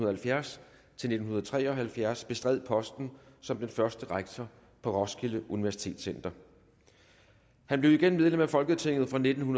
halvfjerds til nitten tre og halvfjerds bestred posten som den første rektor på roskilde universitetscenter han blev igen medlem af folketinget fra nitten